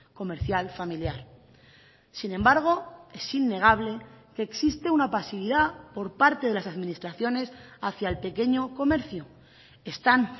comercial familiar sin embargo es innegable que existe una pasividad por parte de las administraciones hacia el pequeño comercio están